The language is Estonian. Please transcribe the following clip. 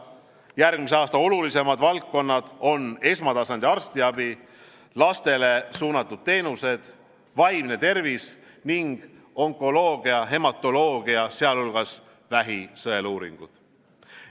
Järgmise aasta olulisemad valdkonnad on esmatasandi arstiabi, lastele suunatud teenused, vaimne tervis ning onkoloogia ja hematoloogia, sh vähi sõeluuringud.